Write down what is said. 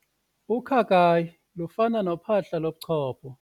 Ukhakayi lufana nophahla lochopho.